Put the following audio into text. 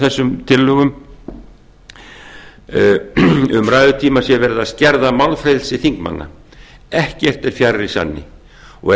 þessum tillögum um ræðutíma sé verið að skerða málfrelsi þingmanna ekkert er fjær sanni ef